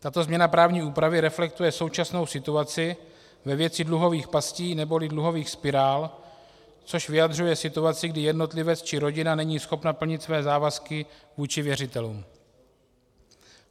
Tato změna právní úpravy reflektuje současnou situaci ve věci dluhových pastí neboli dluhových spirál, což vyjadřuje situaci, kdy jednotlivec či rodina není schopna plnit své závazky vůči věřitelům.